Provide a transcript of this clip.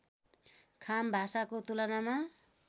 खाम भाषाको तुलनामा